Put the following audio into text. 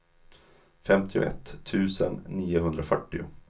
femtioett tusen niohundrafyrtio